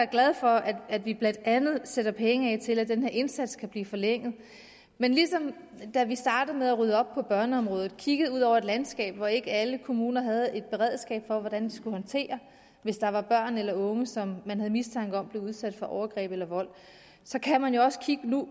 glad for at vi blandt andet sætter penge af til at den her indsats kan blive forlænget men ligesom da vi startede med at rydde op på børneområdet og kiggede ud over et landskab hvor ikke alle kommuner havde et beredskab for hvordan de skulle håndtere hvis der var børn eller unge som man havde mistanke om blev udsat for overgreb eller vold så kan man jo også nu